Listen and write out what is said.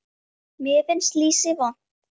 Mér finnst lýsi vont